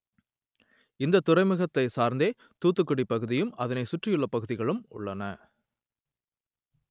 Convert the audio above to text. இந்த துறைமுகத்தை சார்ந்தே தூத்துக்குடி பகுதியும் அதனை சுற்றியுள்ள பகுதிகளும் உள்ளன